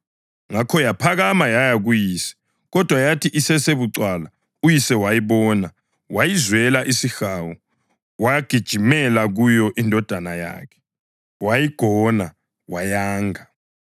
Ngakho yaphakama yaya kuyise. Kodwa yathi isesebucwala uyise wayibona wayizwela isihawu; wagijimela kuyo indodana yakhe, wayigona, wayanga.